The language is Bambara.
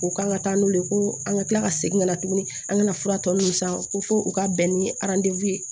U kan ka taa n'u ye ko an ka kila ka segin ka na tuguni an kana fura tɔ nunnu san ko fo u ka bɛn ni ye